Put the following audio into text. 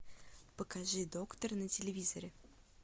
покажи доктор на телевизоре